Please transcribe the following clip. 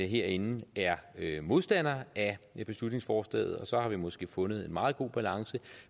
herinde er modstandere af beslutningsforslaget og så har vi måske fundet en meget god balance